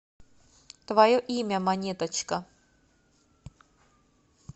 твое имя монеточка